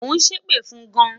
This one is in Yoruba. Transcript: o sepe fun gan